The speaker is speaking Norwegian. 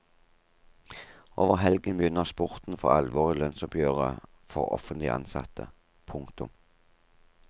Over helgen begynner spurten for alvor i lønnsoppgjøret for offentlig ansatte. punktum